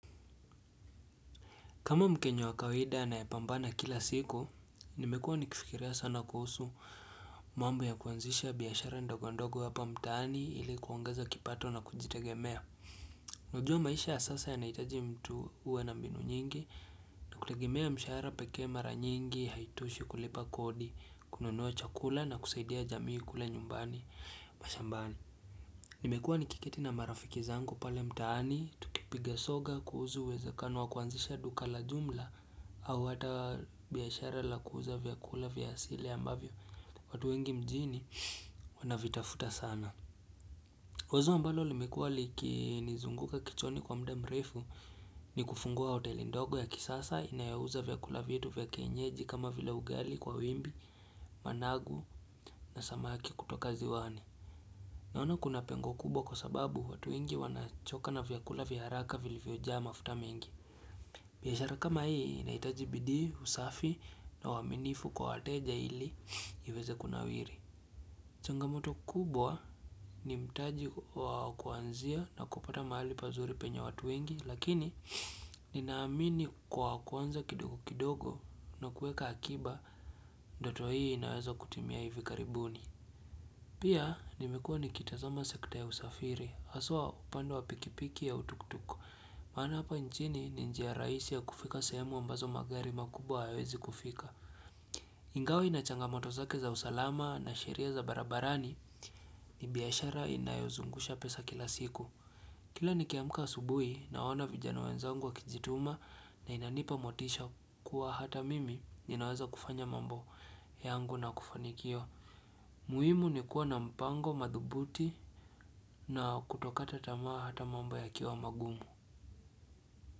Kama mkenya wakawida anayepambana kila siku, nimekuwa nikifikiria sana kuhusu mambo ya kuanzisha biashara ndogondogo hapa mtaani ili kuongeza kipato na kujitegemea. Unajua maisha ya sasa ya naitaji mtu uwe na mbinu nyingi na kutegemea mshahara pekee mara nyingi, haitoshi kulipa kodi, kununua chakula na kusaidia jamii kule nyumbani. Mashambani, nimekuwa nikiketi na marafiki zangu pale mtaani Tukipiga soga kuuzu uweze kano wa kuanzisha duka la jumla au hata biashara la kuuza vyakula vyasile ambavyo watu wengi mjini wanavitafuta sana Wazo ambalo limekuwa liki nizunguka kichwani kwa mda mrefu ni kufungua hoteli ndogo ya kisasa inayouza vyakula vitu vyakienyeji kama vile ugali kwa wimbi, managu na samaki kutoka ziwani Naona kuna pengo kubwa kwa sababu watu wengi wanachoka na vyakula vyaharaka vilivyo jaama futa mengi. Biashara kama hii inaitaji bidii, usafi na uwaminifu kwa wateja iliweze kuna wiri. Changamoto kubwa ni mtaji wakuanzia na kupata mahali pazuri penye watu wengi lakini ninaamini kwa kuanza kidogo kidogo na kueka akiba doto hii inaweza kutimia hivikaribuni. Pia nimekuwa nikitazama sekta ya usafiri, aswa upande wa pikipiki ya tuktuk, maana hapa njini ni njiya raisi ya kufika sehemu ambazo magari makubwa hayawezi kufika. Ingawa inachangamoto zake za usalama na sheria za barabarani ni biyashara inayozungusha pesa kila siku. Kila nikiamka asubui naona vijana wenzangu wa kijituma na inanipa motisha kuwa hata mimi ninaweza kufanya mambo yangu na kufanikiwa. Muimu ni kuwa na mpango, madhubuti na kutokata tamaa hata mambo ya kiwa magumu.